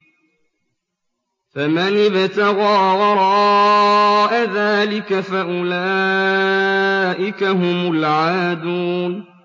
فَمَنِ ابْتَغَىٰ وَرَاءَ ذَٰلِكَ فَأُولَٰئِكَ هُمُ الْعَادُونَ